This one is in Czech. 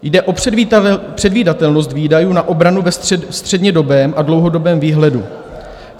Jde o předvídatelnost výdajů na obranu ve střednědobém a dlouhodobém výhledu.